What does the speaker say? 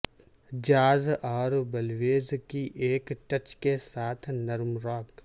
jazz اور blues کی ایک ٹچ کے ساتھ نرم راک